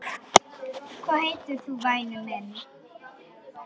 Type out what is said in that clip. Hvað heitir þú væni minn?